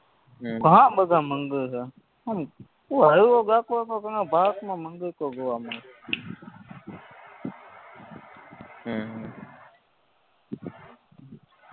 હમ ઘણાબધી મંદિર હે આમ તું હાયલો જાતો હોય તો તને ભારતમાં મંદિરતો જોવા મળે હમ હમ